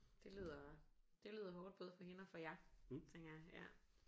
Det lyder det lyder hårdt både for hende og for jer tænker jeg ja